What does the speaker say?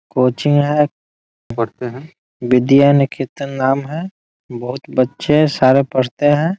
Coaching है पढ़ते है विद्या निकेतन नाम है बहुत बच्चे हैं सारे पढ़ते हैं।